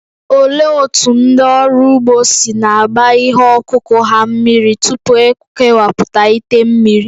Olee otú ndị ọrụ ugbo si na-agba ihe ọkụkụ ha mmiri tupu e kewapụta ite mmiri?